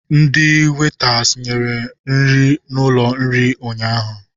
Ndi wetas nyere nri n'ụlọ nri ụnyaahụ.